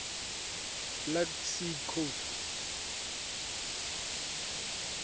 black sea coast